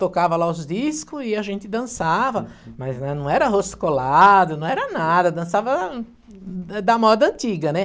tocava lá os discos e a gente dançava, mas não era roscolado, não era nada, dançava da moda antiga, né?